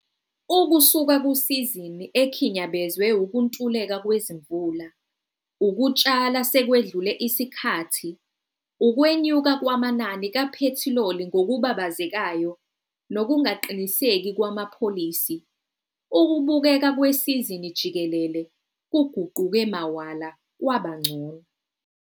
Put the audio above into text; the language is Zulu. UKUSUKA KUSIZINI EKHINYABEZWE UKUNTULEKA KWEZIMVULA, UKUTSHALA SEKWEDLULE ISIKHATHI, UKWENYUKA KWAMANANI KAPHETHILOLI NGOKUBABAZEKAYO NOKUNGAQINISEKI KWAMAPHOLISI, UKUBUKEKA KWESIZINI JIKELELE KUGUQUKE MAWALA KWABA UNGCONO.